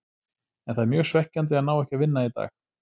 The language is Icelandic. En það er mjög svekkjandi að ná ekki að vinna í dag.